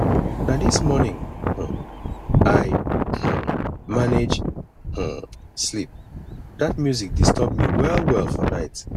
na dis morning um i um manage um sleep dat music disturb me wellwell for night